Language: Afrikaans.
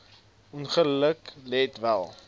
ongeluk let wel